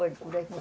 Olha, por aqui.